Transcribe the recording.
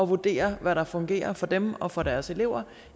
vurdere hvad der fungerer for dem og for deres elever